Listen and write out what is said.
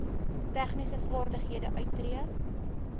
tegniese vaardighede uittree